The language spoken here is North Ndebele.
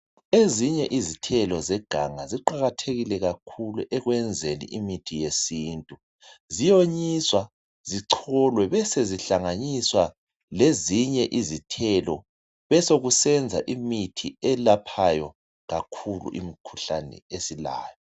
Ezinye izithelo zeganga ziqakathekile kakhulu ekwenzeni imithi yesintu. Ziyonyiswa, zicholwe besezihlanganiswa lezinye izithelo besokusenza imithi elaphayo kakhulu imikhuhlane esilayo.